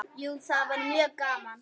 Jú, það væri mjög gaman.